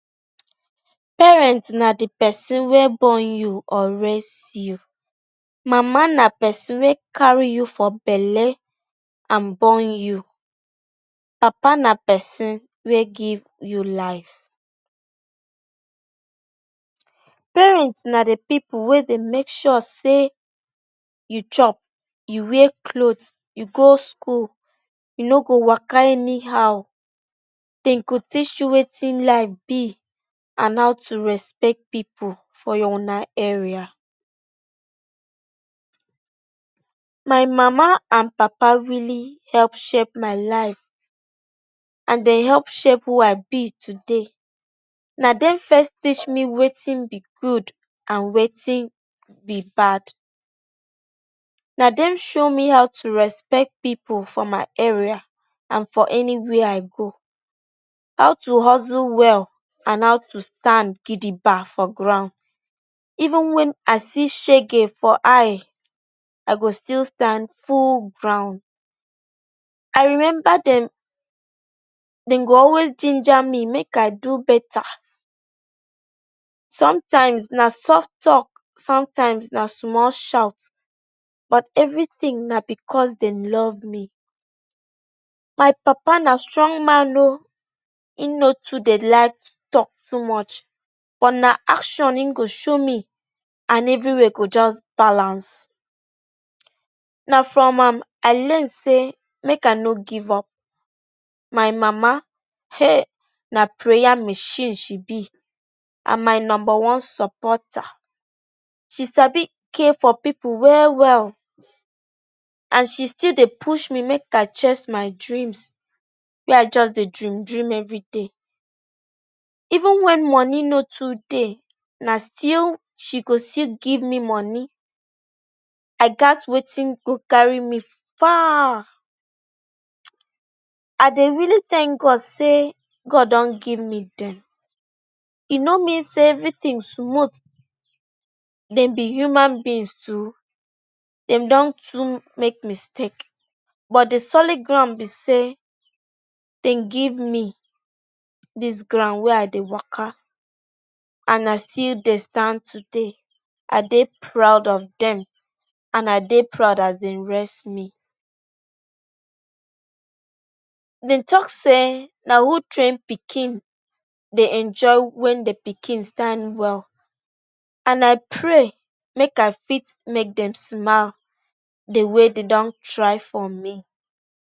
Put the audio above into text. Parent na di pesin wey born you, raise you. Mama na pesin wey carry you for belle and born you. Papa na pesin wey give you life. Parent na di pipu wey dey make sure say you chop, you wear cloth, you go school. E no go waka anyhow. Dem go teach you wetin life be and how to respect pipu for una area. My mama and papa really help shape my life and dey help shape who I be today. Na dem first teach me wetin be good and wetin be bad. Na dem show me how to respect pipu for my area and for anywia I go, how to hustle well and how to stand gidigba for ground. Even wen I see shege for eye, I go still stand full ground. I remember, dem go always jinja me make I do betta. Somtime na soft tok, somtime na small shout but evritin na bicos dem love me. My papa na strong man o. Im no too dey like tok too much but na action im go show me and evriwia go just balance. Na from am I learn say make I no give up. My mama, heeh! Na prayer machine she be and my numba one supporter. She sabi care for pipu well well and she still dey push me make chase my dreams wey I just dey dream dream evri day. Even wen moni no too dey, na still she go still give me moni I gatz. Wetin go carry me far. I dey really thank God say God don give me dem. E no mean say evritin smooth. Dem be human beings too. Dem don too make mistake but di solid ground be say dem give me dis ground wey I dey waka and I still dey stand today. I dey proud of dem and I dey proud as dey raise me. Dem tok say na who train pikin dey enjoy wen di pikin stand well and I pray make I fit make dem smile di way dem don try for me.